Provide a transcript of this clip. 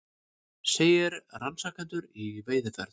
Segir rannsakendur í veiðiferð